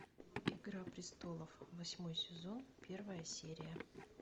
игра престолов восьмой сезон первая серия